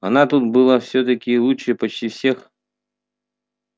она тут была всё-таки лучше почти всех